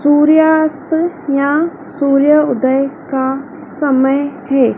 सूर्यास्त या सूर्यउदय का समय हैं।